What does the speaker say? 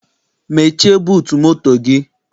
Mechie buutu moto gị!